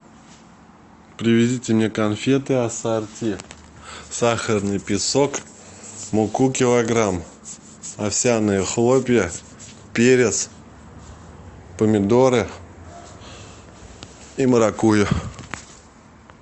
привезите мне конфеты ассорти сахарный песок муку килограмм овсяные хлопья перец помидоры и маракуйю